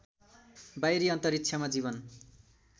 बाहिरी अन्तरिक्षमा जीवन